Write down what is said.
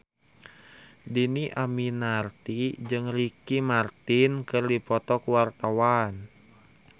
Dhini Aminarti jeung Ricky Martin keur dipoto ku wartawan